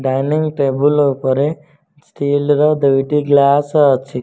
Dining table ଉପରେ steel ର ଦୁଇଟି ଗ୍ଲାସ ଅଛି।